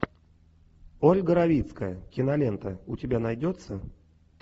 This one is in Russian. ольга равицкая кинолента у тебя найдется